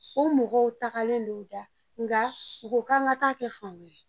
O mɔgɔw tagalen don u da nka u k'an ka taa kɛ fan wɛrɛ